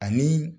Ani